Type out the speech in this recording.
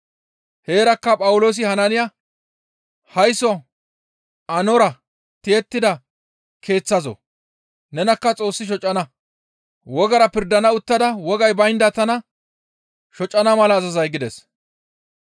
Heerakka Phawuloosi Hanaaniya, «Haysso aannora tiyettida keeththazoo! Nenakka Xoossi shocana; wogara pirdana uttada wogay baynda tana shocana mala azazay?» gides.